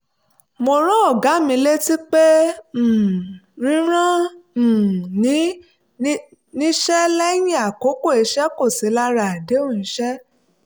mo rán ọ̀gá mi létí pé um rírán um ni níṣẹ́ lẹ́yìn àkókò iṣẹ́ kò sí lára àdéhùn iṣẹ́